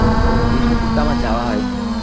ওহ বিষ্ণুপুর তো আমার যাওয়া হয়নি।